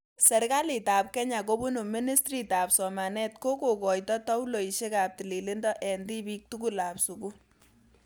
Serkaliit ap kenya kobun ministritap somanet kokoitoi tauloisiek ap tililindo eng' tibiik tugul ap sugul